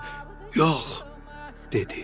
sonra isə "Yox," dedi.